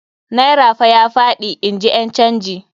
Naira fa ya faɗi, in ji ƴan canji.